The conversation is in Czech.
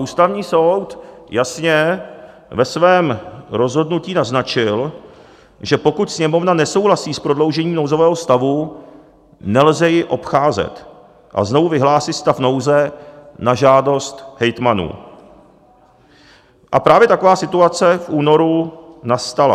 Ústavní soud jasně ve svém rozhodnutí naznačil, že pokud Sněmovna nesouhlasí s prodloužením nouzového stavu, nelze ji obcházet a znovu vyhlásit stav nouze na žádost hejtmanů, a právě taková situace v únoru nastala.